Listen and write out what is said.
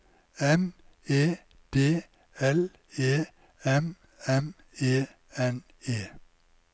M E D L E M M E N E